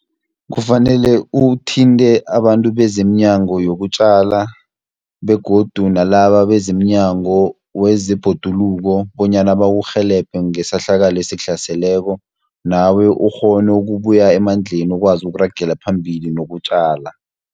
Kufanele uthinte abantu bezeminyango yokutjala, begodu nalaba bezeminyango wezebhoduluko, bonyana bakurhelebhe ngesehlakalo esikuhlaseleko, nawe ukghone ukubuya emandleni ukwazi ukuragela phambili nokutjala.